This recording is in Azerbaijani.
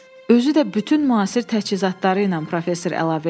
Özü də bütün müasir təchizatları ilə professor əlavə etdi.